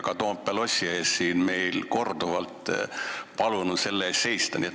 Ka Toompea lossi ees on meil korduvalt palutud selle eest seista.